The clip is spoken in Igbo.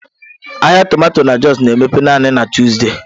Ahịa tomato na Jos na-emepe naanị na Tuzdee.